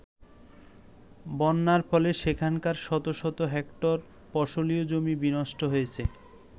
বন্যার ফলে সেখানকার শত শত হেক্টর ফসলী জমি বিনষ্ট হয়েছে।